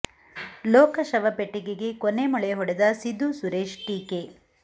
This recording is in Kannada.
ಲೋಕ ಶವ ಪೆಟ್ಟಿಗೆಗೆ ಕೊನೆ ಮೊಳೆ ಹೊಡೆದ ಸಿದ್ದು ಸುರೇಶ್ ಟೀಕೆ